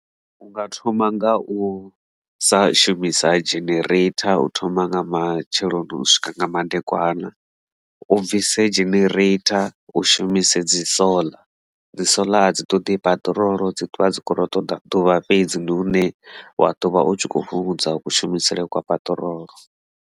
U nga thoma nga u sa shumisa generator u thoma nga matsheloni u swika nga madekwana o bvise generator u shuma shumise dzi solar dzi solar a dzi ṱoḓi peṱirolo dzi ṱwa dzi khoto ṱoḓa ḓuvha fhedzi ndi hune wa ḓovha u tshi kho fhungudza u kushumisele kwa paṱirolo.